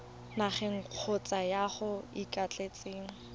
nageng kgotsa yo o ikaeletseng